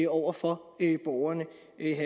over for borgerne